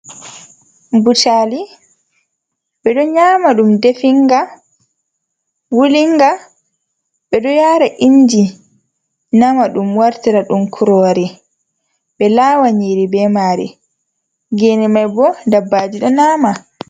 Butali ɓeɗo nyama ɗum definga wulinga ɓeɗo yara inji nama ɗum wartira ɗum kurori be lawa nyiri be mari gene mai bo dabbaji do nyama.